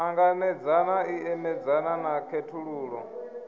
ṱanganedzana i imedzana na khethululo